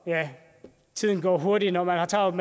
ja tiden går hurtigt når man har travlt